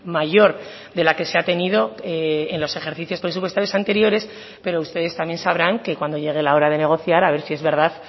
mayor de la que se ha tenido en los ejercicios presupuestarios anteriores pero ustedes también sabrán que cuando llegue la hora de negociar a ver si es verdad